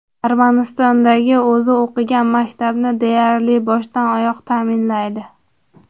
Armanistondagi o‘zi o‘qigan maktabni deyarli boshdan-oyoq ta’minlaydi.